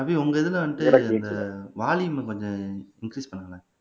ரவி உங்க இதுல வந்து அந்த வால்யூம கொஞ்சம் இன்கிரீஸ் பண்ணுங்களேன்